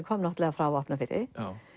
kom náttúrulega frá Vopnafirði